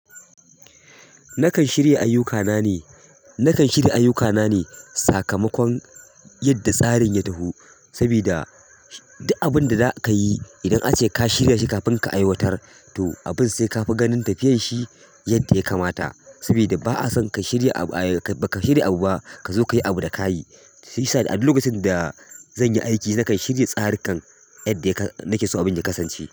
Nakan shirya ayyukana ne, nakan shirya ayyukana ne sakamakon yadda tsarin ya taho. Saboda duk abin da za ka yi, idan ace ka shirya shi kafin ka aiwatar to abin sai ka fi ganin tafiyar shi yadda ya kamata. Saboda ba a son ka shirya abu, baka shirya abu ba ka zo ka yi abu da kayi. Shiyasa a duk lokacin da zanyi aiki, nakan shirya tsarukan yadda nakeso abin ya kasance.